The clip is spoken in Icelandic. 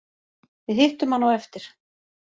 Við hittum hann á eftir